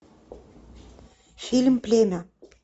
фильм племя